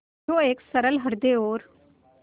जो एक सरल हृदय और